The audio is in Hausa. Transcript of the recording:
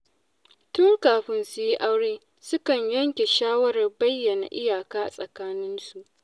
Tun kafin su yi aure, suka yanke shawarar bayyana iyaka tsakaninsu.